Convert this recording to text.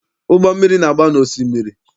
Ụgbọ mmiri na-agba na osimiri.